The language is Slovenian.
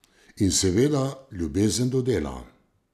In seveda, ljubezen do dela.